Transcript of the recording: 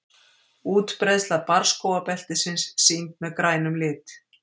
útbreiðsla barrskógabeltisins sýnd með grænum lit